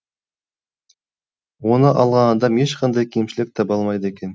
оны алған адам ешқандай кемшілік таба алмайды екен